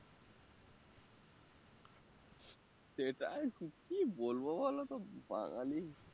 সেটাই তো কি বলবো বলো তো বাঙালি